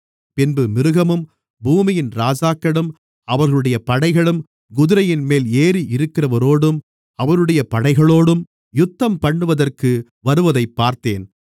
பின்பு மிருகமும் பூமியின் ராஜாக்களும் அவர்களுடைய படைகளும் குதிரையின்மேல் ஏறியிருக்கிறவரோடும் அவருடைய படைகளோடும் யுத்தம்பண்ணுவதற்கு வருவதைப் பார்த்தேன்